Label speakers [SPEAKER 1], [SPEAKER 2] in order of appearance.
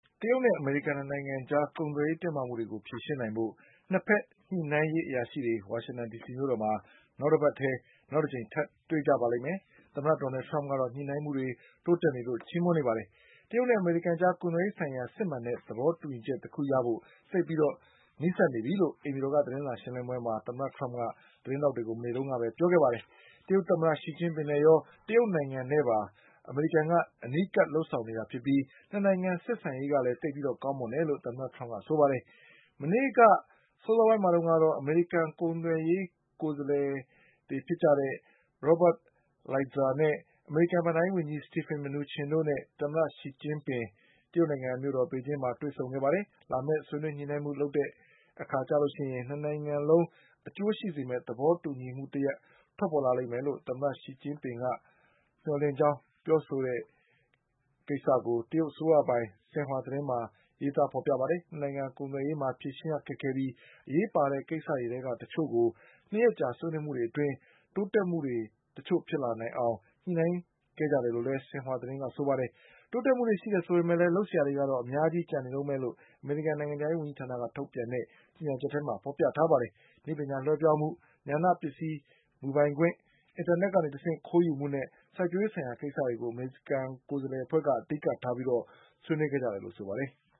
[SPEAKER 1] တရုတ်နဲ့အမေရိကန် ၂ နိုင်ငံအကြား ကုန်သွယ်ရေးတင်းမာမှုတွေကို ဖြေရှင်းနိုင်ဖို့ ၂ ဘက်ညှိနှိုင်းရေးအရာရှိတွေ ဝါရှင်တန်ဒီ စီမြို့တော်မှာ နောက် တပတ်ထဲ တကြိမ် ထပ်တွေ့ကြပါလိမ့်ဦးမယ်။ သမ္မတဒေါ်နလ်ထရမ့်ကတော့ ညှိနှိုင်းမှုတွေ တိုးတက်နေလို့ ချီးမွမ်းနေပါတယ်။ တရုတ်နဲ့ အမေရိကန်အကြား ကုန်သွယ်ရေးဆိုင်ရာ စစ်မှန်တဲ့သဘောတူညီချက်တခုရဖို့ သိပ်ပြီး နီးစပ်နေပြီလို့ အိမ်ဖြူတော်ကသတင်းစာရှင်းလင်းပွဲမှာ သမ္မတထရမ့်က သတင်းထောက်တွေကို မနေ့ကပြောခဲ့ပါတယ်။ တရုတ်သမ္မတရှီကျင်းပင်နဲ့ရော တရုတ်နိုင်ငံနဲ့ပါအမေရိကန်က အနီးကပ် လုပ်ဆောင်နေပြီး ၂ နိုင်ငံဆက်ဆံရေးကလည်း သိပ်ပြီးကောင်းတယ်လို့ သမ္မတထရမ့်ကပြောပါတယ်။ မနေ့ကအစောပိုင်းမှာတုန်းကတော့ အမေရိကန် ကုန်သွယ်ရေး ကိုယ်စားလှယ် Robert Lighthizer ၊ အမေရိကန်ဘဏ္ဍာရေးဝန်ကြီး Steven Mnuchin တို့နဲ့ တရုတ်သမ္မတ ရှီကျင်းပင် တို့ တရုတ်နိုင်ငံမြို့တော်ပေကျင်းမှာ တွေ့ဆုံခဲ့ကြပါတယ်။ လာမယ့် ဆွေးနွေးညှိနှိုင်းမှု လုပ်တဲ့အခါမှာ ၂ နိုင်ငံလုံးအကျိုး ရှိစေမယ့် သဘောတူညီမှုတရပ် ထွက်ပေါ်လာလိမ့်မယ်လို့ တရုတ်သမ္မတရှီကျင်းပင်က မျှော်လင့်ထားတဲ့အကြောင်း တရုတ်အစိုးရပိုင် ရှင်ဟွာသတင်းမှာ ဖေါ်ပြပါတယ်။ ၂ နိုင်ငံကုန်သွယ်ရေးမှာ ဖြေရှင်းရခက်ခဲပြီး အရေးပါတဲ့ကိစ္စတွေထဲက တချို့ကို ၂ ရက် ကြာဆွေးနွေးမှုတွေအတွင်း တိုးတက်မှုတွေတချို့ဖြစ်လာအောင် ညှိနှိုင်းနိုင်ခဲ့တယ်လို့ လည်း ရှင်ဟွာသတင်းကဆိုပါတယ်။ တိုးတက်မှုတွေရှိတယ်ဆိုပေမဲ့လည်း လုပ်စရာတွေကတော့ အများကြီးကျန်နေတုန်းပဲလို့ အမေရိကန်နိုင်ငံခြားရေးဝန်ကြီးဌာနက ထုတ်ပြန်တဲ့ ကြေညာချက်မှာ ဖေါ်ပြထားပါတယ်။ နည်းပညာလွှဲပြောင်းမှု၊ ညာဏပစ္စည်း မူပိုင်ခွင့်၊ အင်တာနက်ကတဆင့်ခိုးယူမှုနဲ့ စိုက်ပျိုးရေးဆိုင်ရာကိစ္စတွေကို အမေရိကန်ကိုယ်စားလှယ်အဖွဲ့က အဓိကထားပြီး ဆွေးနွေးခဲ့တယ်လို့ ဆိုပါတယ်။